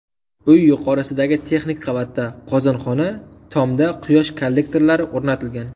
Uy yuqorisidagi texnik qavatda qozonxona, tomda quyosh kollektorlari o‘rnatilgan.